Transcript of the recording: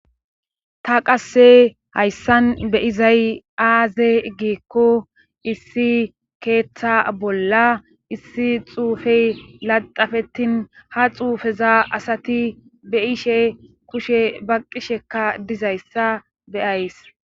ta qasse hayssan be izay aaze geekko issi keeththa bolla issi xuufey laxafetin ha xuufeza asati be ishe kushe ba qishekka dizayssa beyays